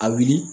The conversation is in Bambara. A wuli